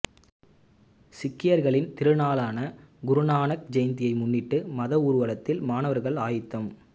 சீக்கியர்களின் திருநாளான குருநானக் ஜெயந்தியை முன்னிட்டு மத ஊர்வலத்தில் மாணவர்கள் ஆயத்தம்